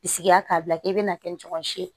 Bisigi la k'a bila k'i bɛna kɛ ni ɲɔgɔn si ye